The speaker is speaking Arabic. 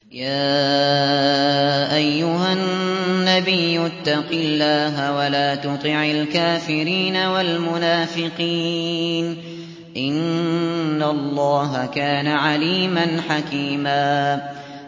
يَا أَيُّهَا النَّبِيُّ اتَّقِ اللَّهَ وَلَا تُطِعِ الْكَافِرِينَ وَالْمُنَافِقِينَ ۗ إِنَّ اللَّهَ كَانَ عَلِيمًا حَكِيمًا